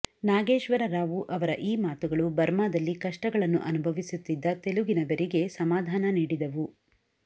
ನಾಗೇಶ್ವರರಾವು ಅವರ ಈ ಮಾತುಗಳು ಬರ್ಮಾದಲ್ಲಿ ಕಷ್ಟಗಳನ್ನು ಅನುಭವಿಸುತ್ತಿದ್ದ ತೆಲುಗಿನವರಿಗೆ ಸಮಾಧಾನ ನೀಡಿದವು